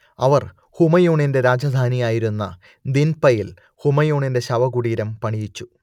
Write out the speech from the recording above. അവർ ഹുമയൂണിന്റെ രാജധാനിയായിരുന്ന ദിൻപയിൽ ഹുമയൂണിന്റെ ശവകുടീരം പണിയിച്ചു